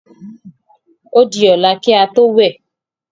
Ó di ọ̀la ki a tó wẹ̀.